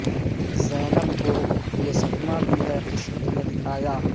زینب کو یہ صدمہ بھی ہے قسمت نے دکھایا